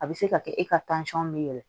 A bɛ se ka kɛ e ka bɛ yɛlɛ